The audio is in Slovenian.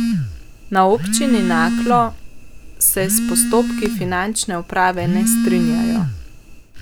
Na občini Naklo se s postopki finančne uprave ne strinjajo.